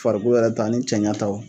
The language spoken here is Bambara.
Farikolo yɛrɛ ta ani cɛnɲa taw.